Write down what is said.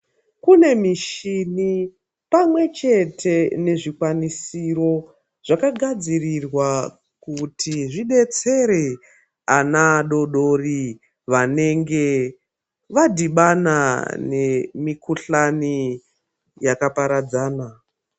Kune mishini pamwe chete nezvikwanisiro zvakagadzirirwa kuti zvidetsere ana adoodori vanenge vadhibana nemikhuhlani yakaparadzana.